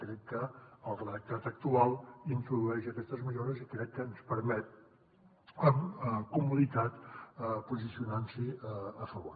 crec que el redactat actual introdueix aquestes millores i crec que ens permet amb comoditat posicionar nos hi a favor